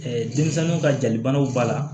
denmisɛnninw ka jalibanaw b'a la